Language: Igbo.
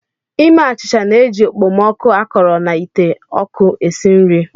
Ime achịcha na-eji okpomọkụ akọrọ na ite oku esi nri.